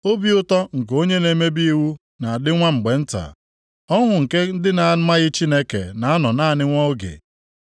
Obi ụtọ nke onye na-emebi iwu na-adị nwa mgbe nta, ọṅụ nke ndị na-amaghị Chineke na-anọ naanị nwa oge.